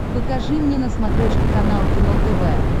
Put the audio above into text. покажи мне на смотрешке канал кино тв